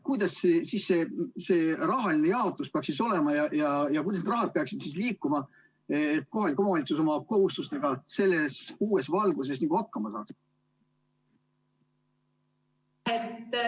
Kuidas see rahaline jaotus siis peaks olema ja kuidas peaks raha liikuma, et kohalik omavalitsus oma kohustustega selles uues valguses hakkama saaks?